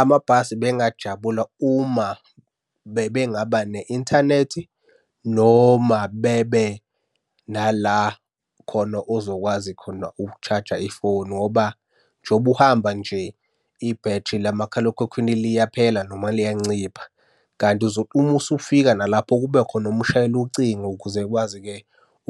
Amabhasi bengingajabula uma bebengaba ne-inthanethi, noma bebe nala khona ozokwazi khona uku-charger ifoni ngoba njengoba uhamba nje, ibhethri lamakhalekhukhwini liyaphela noma liyancipha, kanti uma usufika nalapho kube khona omshayela ucingo ukuze ekwazi-ke